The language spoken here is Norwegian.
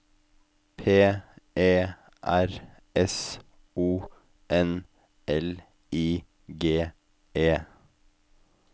P E R S O N L I G E